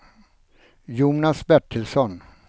Jonas Bertilsson